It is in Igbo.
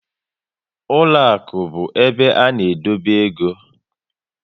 Ụlọakụ bụ ebe a na edobe égo